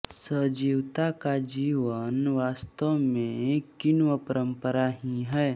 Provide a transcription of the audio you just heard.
सजीवता का जीवन वास्तव में किण्वपरम्परा ही है